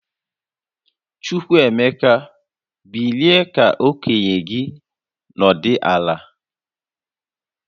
Chukwuemeka, bilie ka okenye gi nọdụ ala!